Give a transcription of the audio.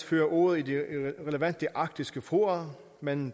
fører ordet i de relevante arktiske fora men